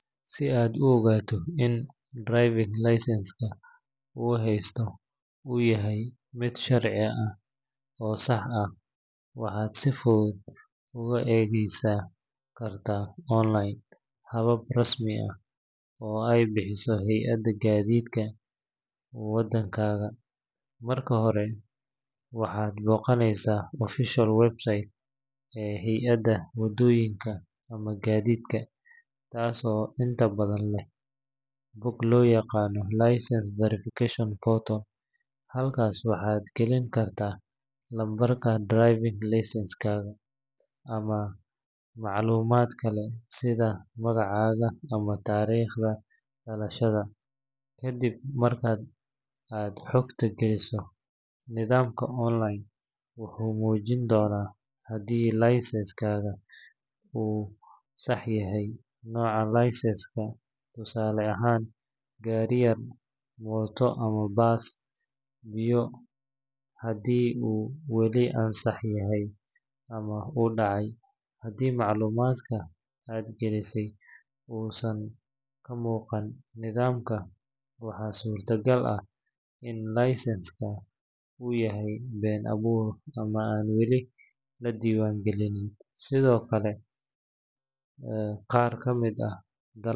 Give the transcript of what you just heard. Si aad u ogaato in driving licence-ka aad haysato uu yahay mid sharci ah oo sax ah, waxaad si fudud u adeegsan kartaa online habab rasmi ah oo ay bixiso hay’adda gaadiidka waddankaaga. Marka hore, waxaad booqanaysaa official website ee hay’adda wadooyinka ama gaadiidka, taas oo inta badan leh bog loo yaqaan licence verification portal. Halkaas waxaad gelin kartaa lambarka driving licence-kaaga ama macluumaad kale sida magacaaga ama taariikhda dhalashada. Kadib marka aad xogta geliso, nidaamka online wuxuu muujin doonaa haddii licence-kaaga uu sax yahay, nooca licence-ka (tusaale ahaan, gaari yar, mooto ama bas), iyo haddii uu weli ansax yahay ama uu dhacay. Haddii macluumaadka aad gelisay uusan ka muuqan nidaamka, waxaa suuragal ah in licence-ka uu yahay been abuur ama aan weli la diiwaan gelin. Sidoo kale, qaar ka mid ah.